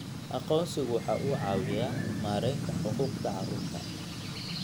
Aqoonsigu waxa uu caawiyaa maaraynta xuquuqda carruurta.